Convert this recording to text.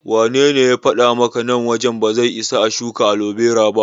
Wanene ya faɗa maka nan wajen ba zai isa a shuka alobera ba?